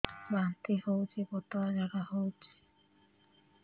ବାନ୍ତି ହଉଚି ପତଳା ଝାଡା ହଉଚି